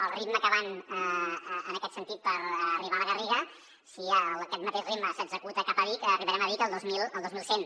al ritme que van en aquest sentit per arribar a la garriga si aquest mateix ritme s’executa cap a vic arribarem a vic el dos mil cent